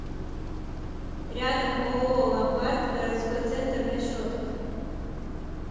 рядом ооо ломбард городской центр расчетов